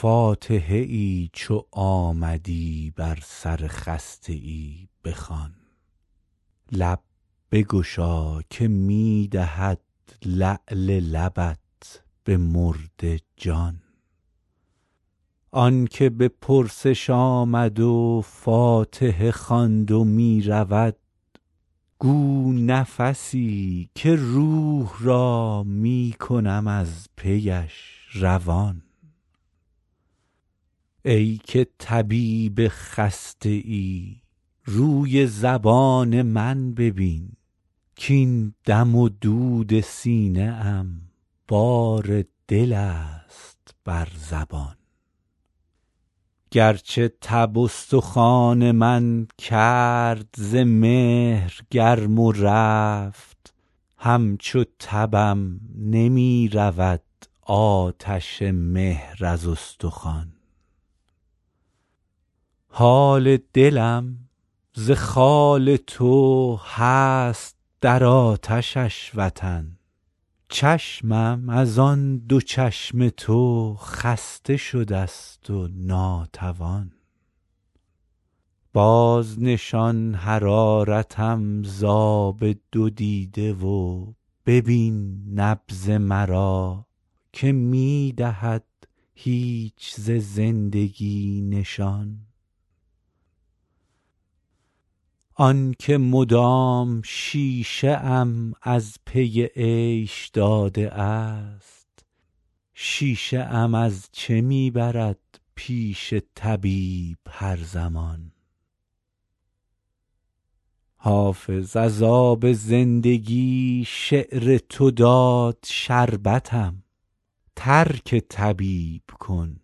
فاتحه ای چو آمدی بر سر خسته ای بخوان لب بگشا که می دهد لعل لبت به مرده جان آن که به پرسش آمد و فاتحه خواند و می رود گو نفسی که روح را می کنم از پیش روان ای که طبیب خسته ای روی زبان من ببین کـاین دم و دود سینه ام بار دل است بر زبان گرچه تب استخوان من کرد ز مهر گرم و رفت همچو تبم نمی رود آتش مهر از استخوان حال دلم ز خال تو هست در آتشش وطن چشمم از آن دو چشم تو خسته شده ست و ناتوان بازنشان حرارتم ز آب دو دیده و ببین نبض مرا که می دهد هیچ ز زندگی نشان آن که مدام شیشه ام از پی عیش داده است شیشه ام از چه می برد پیش طبیب هر زمان حافظ از آب زندگی شعر تو داد شربتم ترک طبیب کن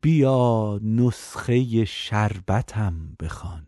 بیا نسخه شربتم بخوان